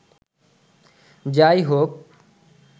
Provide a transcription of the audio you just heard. যা-ই হোক